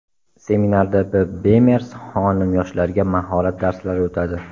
Seminarda B. Bemers xonim yoshlarga mahorat darslari o‘tadi.